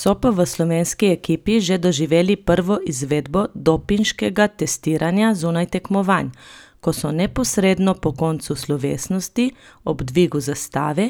So pa v slovenski ekipi že doživeli prvo izvedbo dopinškega testiranja zunaj tekmovanj, ko so neposredno po koncu slovesnosti ob dvigu zastave